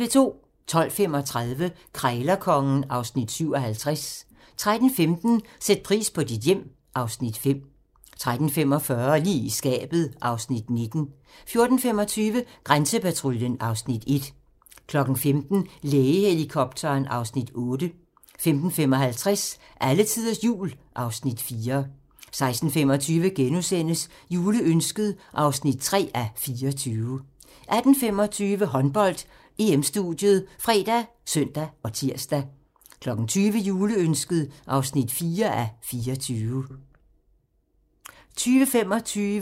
12:35: Krejlerkongen (Afs. 57) 13:15: Sæt pris på dit hjem (Afs. 5) 13:45: Lige i skabet (Afs. 19) 14:25: Grænsepatruljen (Afs. 1) 15:00: Lægehelikopteren (Afs. 8) 15:55: Alletiders Jul (Afs. 4) 16:25: Juleønsket (3:24)* 18:25: Håndbold: EM-studiet ( fre, søn, tir) 20:00: Juleønsket (4:24) 20:25: Håndbold: EM - Danmark-Slovenien (k)